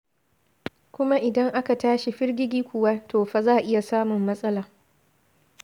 Kuma idan aka tashi firgigi kuwa to fa za a iya samun matsala.